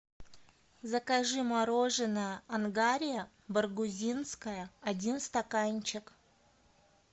закажи мороженое ангария баргузинское один стаканчик